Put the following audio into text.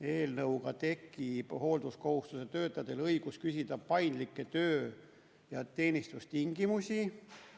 Eelnõuga tekib hoolduskohustusega töötajatel õigus küsida paindlikke töö- ja teenistustingimusi.